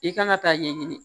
I kan ka taa ɲɛɲini